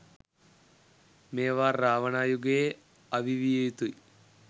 මේවා රාවණා යුගයේ අවි විය යුතුයි